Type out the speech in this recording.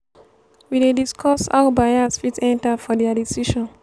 we dey discuss how bias fit enta for their decision.